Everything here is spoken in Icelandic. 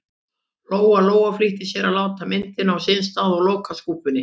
Lóa-Lóa flýtti sér að láta myndina á sinn stað og loka skúffunni.